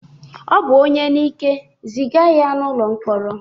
Ọ bụ onye n'ike, ziga ya n'ụlọ mkpọrọ!